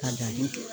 Ka danni kɛ